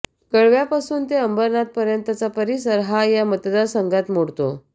कळव्यापासून ते अंबरनाथपर्यंतचा परिसर हा या मतदार संघात मोडतो